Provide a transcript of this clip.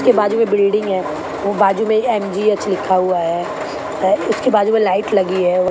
के बाजू में बिल्डिंग है और बाजू में ही एम_जी_एच लिखा हुआ है है उसके बाजू में लाइट लगी है औ--